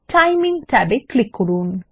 timing ট্যাবে click করুন